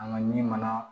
An ka ɲi mana